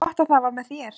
Gott að það var með þér.